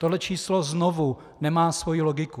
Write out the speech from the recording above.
Tohle číslo znovu nemá svoji logiku.